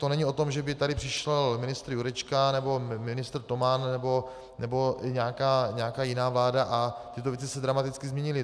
To není o tom, že by tady přišel ministr Jurečka nebo ministr Toman nebo nějaká jiná vláda a tyto věci se dramaticky změnily.